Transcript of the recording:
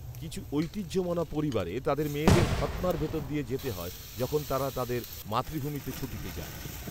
কিছু ঐতিহ্যমনা পরিবারে তাদের মেয়েদের খৎনার ভেতর দিয়ে যেতে হয় যখন তারা তাদের মাতৃভূমিতে ছুটিতে যায়